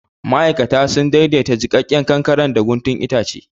Ma'aikata sun daidaita jikakken kankaren da guntun itace.